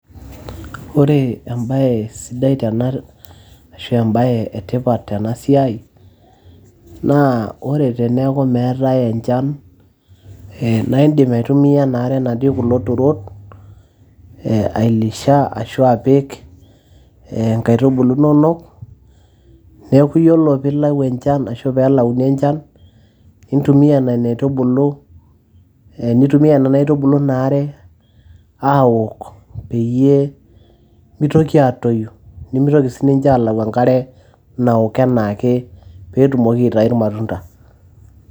ore embaye sidai tena ashua embaye etipat tena siai naa ore teneeku meetay enchan ee naa indim aitumia ena are natii kulo turot ailisha ashua apik ee nkaitubulu inonok neeku yiolo piilau enchan ashu peelauni enchan nintumia nena aitubulu ee nitumia nena aitubulu in are aawok peyie mitoki atoyu nimitoki sininche aalau enkare nawok enaake peetumoki aitai irmatunda.